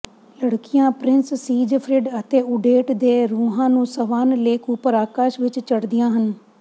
ਲੜਕੀਆਂ prince Siegfried ਅਤੇ Odette ਦੇ ਰੂਹਾਂ ਨੂੰ ਸਵਾਨ ਲੇਕ ਉਪਰ ਆਕਾਸ਼ ਵਿਚ ਚੜ੍ਹਦੀਆਂ ਹਨ